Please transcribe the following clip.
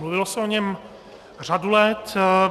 Mluvilo se o něm řadu let.